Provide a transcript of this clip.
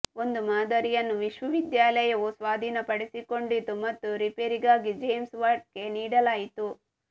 ಒಂದು ಮಾದರಿಯನ್ನು ವಿಶ್ವವಿದ್ಯಾಲಯವು ಸ್ವಾಧೀನಪಡಿಸಿಕೊಂಡಿತು ಮತ್ತು ರಿಪೇರಿಗಾಗಿ ಜೇಮ್ಸ್ ವ್ಯಾಟ್ಗೆ ನೀಡಲಾಯಿತು